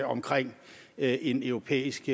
omkring en europæisk